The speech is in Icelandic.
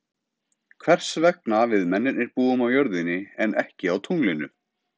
Hvers vegna við mennirnir búum á jörðinni en ekki á tunglinu.